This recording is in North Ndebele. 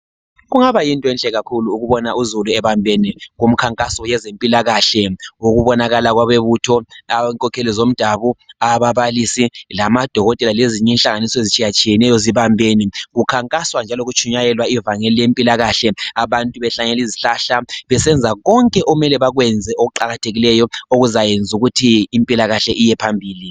kungaba yinto enhle kakhulu ukubona uzulu ebambeni ngomkhankaso wezempilakahle ngokubonakala abebutho ababalisi abo dokotela lezinye inhlanganiso ezitshiyeneyo zibambene kukhankaswa njalo kutshimayelwa ivangeli lempilakahle abantu behlanyela izihlahla besenza konke okumele bakwenze okuqakathekileyo ukuze impilakahl;e iyephambili